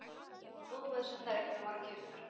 Einungis óveðsettar eignir voru keyptar